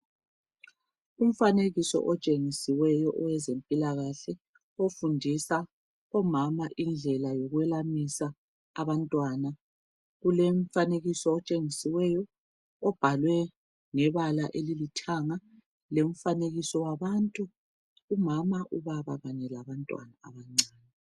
Umfanekiso otshengisiweyo owezempilakahle ofundisa omama indlela yokwelamisa abantwana kulomfanekiso otshengisiweyo obhalwe ngebala olithanga umfanekiso wabantu umama ,ubaba kanye labantwana abancane.